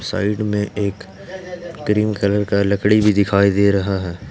Side में एक green colour का लकड़ी भी दिखाई दे रहा है।